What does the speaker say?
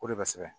O de bɛ sɛgɛn